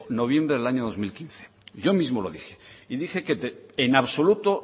noviembre del año dos mil quince yo mismo lo dije y dije que en absoluto